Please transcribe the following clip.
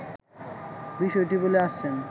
বিষয়টি বলে আসছেন